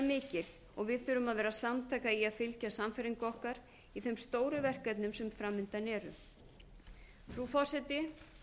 mikil og við þurfum að vera samtaka í að fylgja sannfæringu okkar í þeim stóru verkefnum sem fram undan eru frú forseti